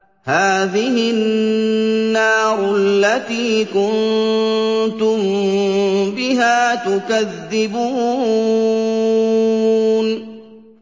هَٰذِهِ النَّارُ الَّتِي كُنتُم بِهَا تُكَذِّبُونَ